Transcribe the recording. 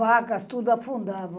Vacas, tudo afundava.